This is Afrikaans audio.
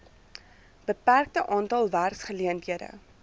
beperkte aantal werkgeleenthede